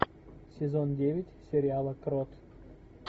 сезон девять сериала крот